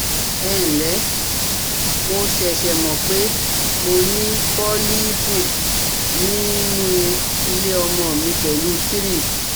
Ẹǹlẹ́, mo ṣẹ̀ṣẹ̀ mọ̀ pé mo ní pólíìpù nínú ilé ọmọ mi pẹ̀lú three